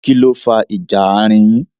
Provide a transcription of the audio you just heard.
Kínní ó fa ìjà àárín yin?